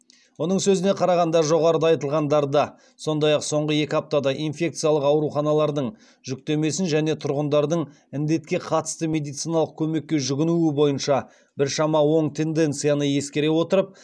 оның сөзіне қарағанда жоғарыда айтылғандарды сондай ақ соңғы екі аптада инфекциялық ауруханалардың жүктемесін және тұрғындардың індетке қатысты медициналық көмекке жүгінуі бойынша біршама оң тенденцияны ескере отырып